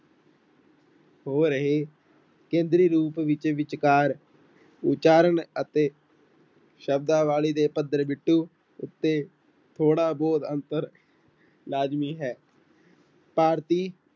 ਹੋ ਰਹੇ ਕੇਂਦਰੀ ਰੂਪ ਵਿੱਚ ਵਿਚਕਾਰ ਉਚਾਰਨ ਅਤੇ ਸ਼ਬਦਾਵਲੀ ਦੇ ਪੱਧਰ ਬਿਟੂ ਉੱਤੇ ਥੋੜ੍ਹਾ ਬਹੁਤ ਅੰਤਰ ਲਾਜ਼ਮੀ ਹੈ ਭਾਰਤੀ